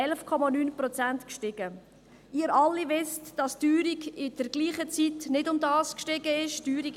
Sie alle wissen, dass die Teuerung während derselben Zeit nicht um dieses Niveau gestiegen ist.